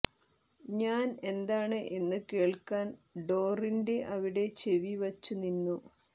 ഞാൻ എന്താണ് എന്ന് കേൾക്കാൻ ഡോറിന്റെ അവിടെ ചെവി വച്ചു നിന്നു